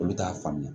Olu t'a faamuya